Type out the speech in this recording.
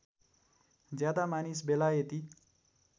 ज्यादा मानिस बेलायती